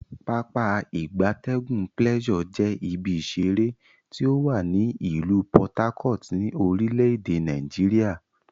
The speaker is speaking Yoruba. Pápá ìgbatẹ́gùn Pleasure je ibi isere ti owa ni ilu Por Harcourt, ni orile ede Nigeria.